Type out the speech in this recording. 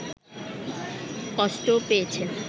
কষ্টও পেয়েছেন